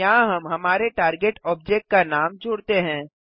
यहाँ हम हमारे टार्गेट ऑब्जेक्ट का नाम जोड़ते हैं